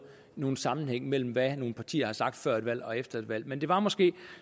nogen sammenhæng mellem hvad nogle partier har sagt før et valg og efter et valg men det var måske